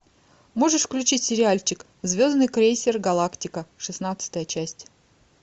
можешь включить сериальчик звездный крейсер галактика шестнадцатая часть